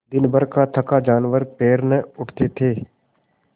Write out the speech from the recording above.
दिनभर का थका जानवर पैर न उठते थे